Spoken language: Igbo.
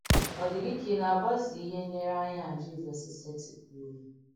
Ọ̀ dì gị kà ị nà-àgbàsò ìhé ǹlèrèányà á Jìzọ̀s sètìpùrù?